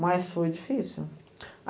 Mas foi difícil.